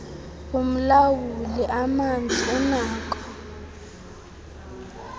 umlawuli amanzi unakho